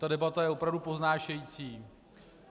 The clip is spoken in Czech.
Ta debata je opravdu povznášející.